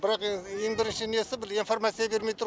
бірақ ең бірінші несі бір информация бермей тұр